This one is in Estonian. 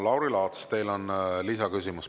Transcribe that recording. Lauri Laats, teil on lisaküsimus.